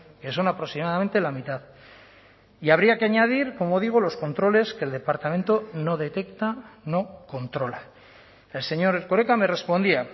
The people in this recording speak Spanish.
que son aproximadamente la mitad y habría que añadir como digo los controles que el departamento no detecta no controla el señor erkoreka me respondía